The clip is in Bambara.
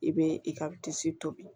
I bɛ i ka disi tobi